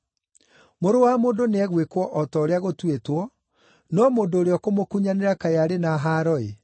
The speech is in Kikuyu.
Mũrũ wa Mũndũ nĩegwĩkwo o ta ũrĩa gũtuĩtwo, no mũndũ ũrĩa ũkũmũkunyanĩra kaĩ arĩ na haaro-ĩ!”